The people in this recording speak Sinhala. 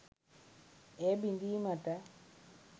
එය බිඳීමට